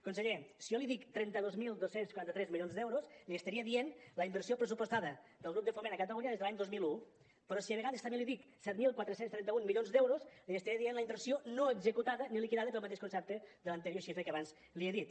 conseller si jo li dic trenta dos mil dos cents i quaranta tres milions d’euros li estaria dient la inversió pressupostada del grup de foment a catalunya des de l’any dos mil un però si a vegades també li dic set mil quatre cents i trenta un milions d’euros li estaré dient la inversió no executada ni liquidada pel mateix concepte de l’anterior xifra que abans li he dit